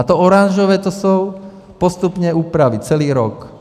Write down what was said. A to oranžové, to jsou postupné úpravy, celý rok.